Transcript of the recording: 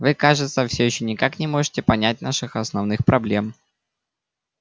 вы кажется всё ещё никак не можете понять наших основных проблем